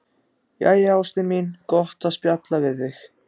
Jæja, ástin mín, gott að spjalla við þig.